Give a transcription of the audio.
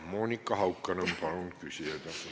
Monika Haukanõmm, palun küsige!